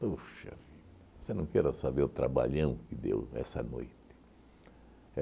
Puxa vida, você não queira saber o trabalhão que deu essa noite.